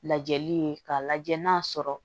Lajɛli ye k'a lajɛ n'a sɔrɔ